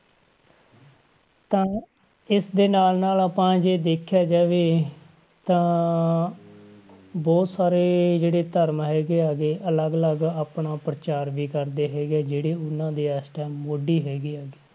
ਤਾਂ ਇਸਦੇ ਨਾਲ ਨਾਲ ਆਪਾਂ ਜੇ ਦੇਖਿਆ ਜਾਵੇ ਤਾਂ ਬਹੁਤ ਸਾਰੇ ਜਿਹੜੇ ਧਰਮ ਹੈਗੇ ਆ ਗੇ ਅਲੱਗ ਅਲੱਗ ਆਪਣਾ ਪ੍ਰਚਾਰ ਵੀ ਕਰਦੇ ਹੈਗੇ ਆ, ਜਿਹੜੇ ਉਹਨਾਂ ਦੇ ਇਸ time ਮੋਢੀ ਹੈਗੇ ਆ